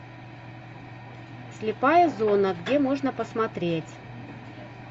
слепая зона где можно посмотреть